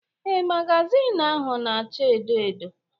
Ee, magazin ahụ na acha edo edo